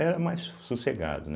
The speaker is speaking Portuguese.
Era mais so sossegado, né.